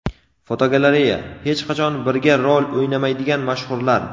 Fotogalereya: Hech qachon birga rol o‘ynamaydigan mashhurlar.